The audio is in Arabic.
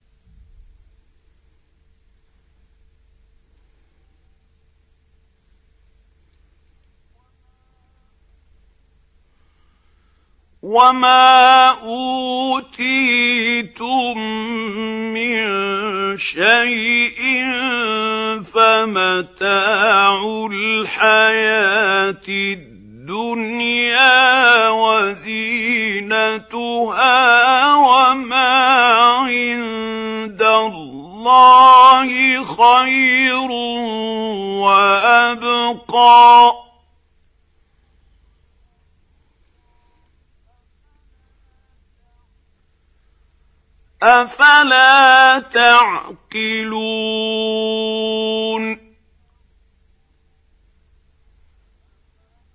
وَمَا أُوتِيتُم مِّن شَيْءٍ فَمَتَاعُ الْحَيَاةِ الدُّنْيَا وَزِينَتُهَا ۚ وَمَا عِندَ اللَّهِ خَيْرٌ وَأَبْقَىٰ ۚ أَفَلَا تَعْقِلُونَ